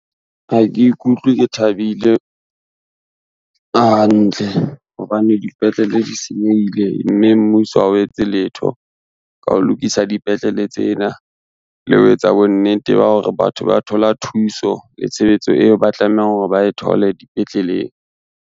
Ha ke ikutlwe ke thabile hantle hobane dipetlele di senyehile, mme mmuso ha o etse letho ka ho lokisa dipetlele tsena, le ho etsa bonnete ba hore batho ba thola thuso le tshebetso eo ba tlamehang hore ba e thole dipetleleng.